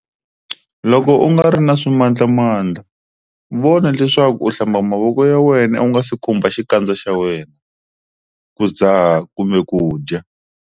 Loko u nga ri na swimandlamandla, vona leswaku u hlamba mavoko ya wena u nga si khumbha xikandza xa wena, ku dzaha kumbe ku dya.